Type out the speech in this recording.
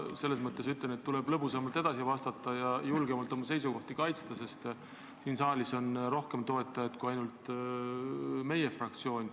Ma ütlen, et tuleb lõbusamalt edasi vastata ja julgemalt oma seisukohti kaitsta, sest siin saalis on eelnõul rohkem toetajaid kui ainult meie fraktsioon.